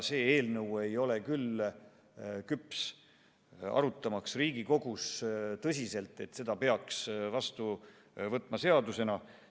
See eelnõu ei ole küll küps Riigikogus nii tõsiselt arutamiseks, et selle peaks vastu võtma seadusena.